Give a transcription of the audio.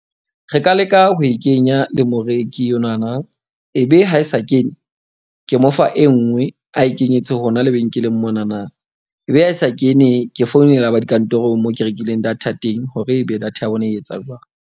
Re ka leka ho e kenya le moreki enwana, ebe ha e sa kene, ke mo fa e nngwe a e kenyetse hona lebenkeleng monana. Ebe ha e sa kene. Ke founela ba dikantorong moo ke rekileng data teng hore ebe data ya bona e etsang jwang.